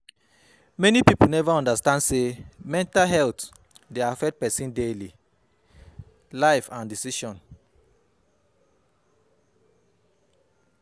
Many pipo neva undastand say mental health dey affect pesin daily life and decision